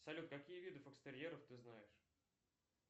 салют какие виды фокстерьеров ты знаешь